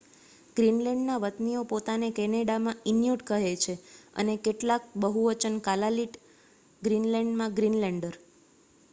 ગ્રીનલેન્ડના વતનીઓ પોતાને કેનેડામાં ઇન્યુટ કહે છે અને કલાાલેક બહુવચન કાલાલીટ ગ્રીનલેન્ડમાં ગ્રીનલેન્ડર